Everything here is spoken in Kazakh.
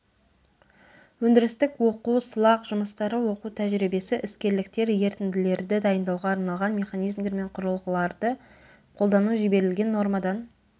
өндірістік оқу сылақ жұмыстары оқу тәжірибесі іскерліктер ерітінділерді дайындауға арналған механизмдер мен құрылғыларды қолдану жіберілген нормадан